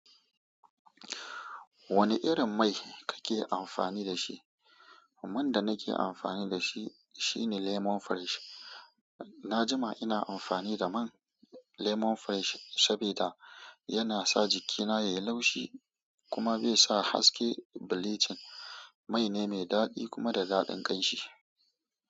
Wani irin mai kake amfani da shi? Man da nake amfani da shi shine lemon fresh. Na jima ina amfani da man lemon fresh saboda yana sa jikina yayi laushi kuma bai sa haske bleaching. Mai ne mai dadi kuma da dadin ƙanshi.